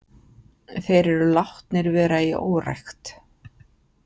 Þeir eru látnir vera í órækt.